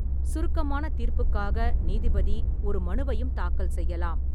சுருக்கமான தீர்ப்புக்காக நீதிபதி ஒரு மனுவையும் தாக்கல் செய்யலாம்.